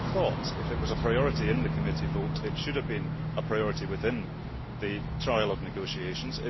I would have thought that, if it was a priority in the committee vote, it should have been a priority within the trialogue negotiations.